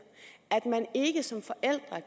at